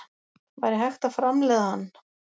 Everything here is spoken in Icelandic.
Væri hægt að framleiða hann?